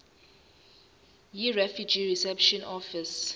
yirefugee reception office